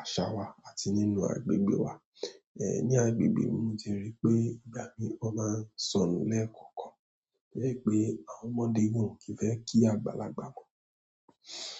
àṣà wa àti nínú agbègbè wa. Ní agbègbè mi mo ti rí pé ìgbà mìíràn ó máa ń sọnù lẹ́ẹ̀kọ̀kan. E ri pe àwọn ọmọdé gan o ki fe ki àgbàlagbà mo.